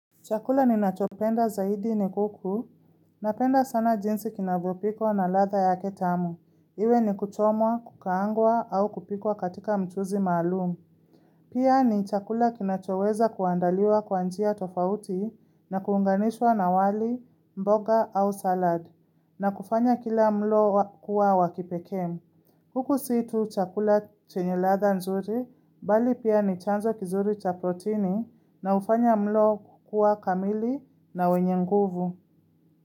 Chakula ni nachopenda zaidi ni kuku, napenda sana jinsi kinavyopiko na ladha ya ketamu, iwe ni kuchomwa, kukaangwa au kupikwa katika mchuzi maalumu. Pia ni chakula kinachoweza kuandaliwa kwa njia tofauti na kuunganishwa na wali, mboga au salad, na kufanya kila mlo kuwa wakipekee. Kuku si tu chakula chenye ladha nzuri, bali pia ni chanzo kizuri cha proteini na ufanya mlo kukuwa kamili na wenye nguvu.